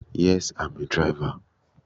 Yes I'm a driver